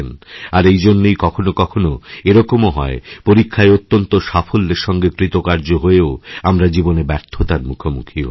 আর এই জন্যই কখনও কখনওএরকমও হয় পরীক্ষায় অত্যন্ত সাফল্যের সঙ্গে কৃতকার্য হয়েও আমরা জীবনে ব্যর্থতারমুখোমুখি হই